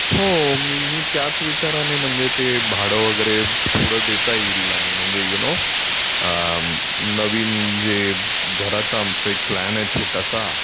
हो मी ही त्याच विचाराने म्हणजे ते भाडं वगैरे थोडं देता येईल आणि म्हणजे यू नो नवीन म्हणजे ते घराचं आमचं एक प्लान आहे छोटासा,